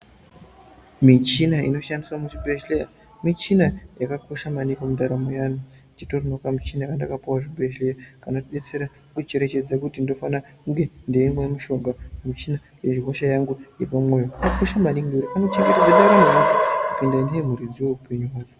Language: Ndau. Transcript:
Michina inoshandiswe muzvibhedhleya michina yakakosha maningi mundaramo yeanhu. Titoriwo nekamuchina katakapuwa kuchibhedhleya kanotidetsere kucherechedze kuti ndinofana kunge ndeimwa mushonga, michina wehosha yangu yepamwoyo kakakosha maningi ngekuti kanochengetedze ndaramo yeanhu kunge ndiye muridzi weupenyu hwayo.